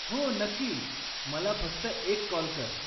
हो, नक्की! मला फक्त एक कॉल कर.